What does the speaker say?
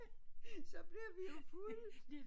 Så blev vi fulde